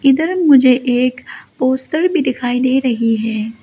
इधर मुझे एक पोस्टर भी दिखाई दे रही है।